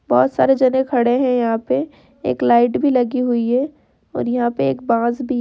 बहुत सारे जने खड़े है यहाँ पे । एक लाइट भी लगी हुई है और यहाँ पे एक बांस भी --